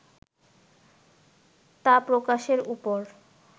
তা প্রকাশের উপর